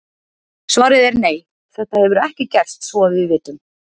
Svarið er nei, þetta hefur ekki gerst svo að við vitum.